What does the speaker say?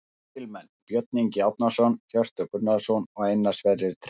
Lykilmenn: Björn Ingi Árnason, Hjörtur Gunnarsson og Einar Sverrir Tryggvason